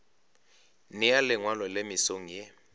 nea lengwalo le mesong ye